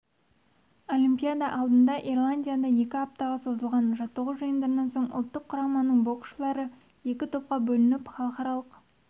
олимпиада алдында ирландияда екі аптаға созылған жаттығу жиындарынан соң ұлттық құраманың боксшылары екі топқа бөлініп халықаралық